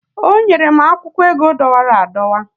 o nyere m akwụkwọ ego dọwara adọwa